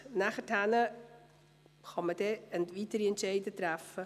Danach kann man weitere Entscheide fällen.